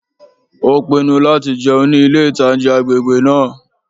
Ó pinnu láti jẹun ní ilé-ìtánjẹ agbègbè náà